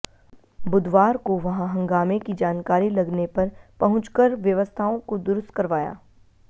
बुधवार को वहां हंगामे की जानकारी लगने पर पहुंचकर व्यवस्थाओं को दुरुस्त करवाया